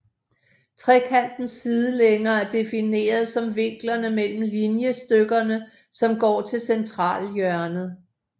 Trekantens sidelængder er defineret som vinklerne mellem linjestykkerne som går til centralhjørnet